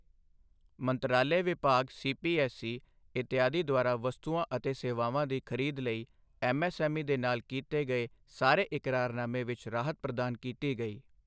ਮੰਤਰਾਲੇ ਵਿਭਾਗ ਸੀਪੀਐੱਸਈ, ਇਤਆਦਿ ਦੁਆਰਾ ਵਸਤੂਆਂ ਅਤੇ ਸੇਵਾਵਾਂ ਦੀ ਖਰੀਦ ਲਈ ਐੱਮਐੱਸਐੱਮਈ ਦੇ ਨਾਲ ਕੀਤੇ ਗਏ ਸਾਰੇ ਇਕਰਾਰਨਾਮੇ ਵਿੱਚ ਰਾਹਤ ਪ੍ਰਦਾਨ ਕੀਤੀ ਗਈ